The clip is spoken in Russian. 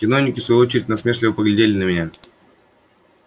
чиновники в свою очередь насмешливо поглядели на меня